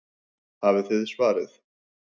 Hafið þið svarið?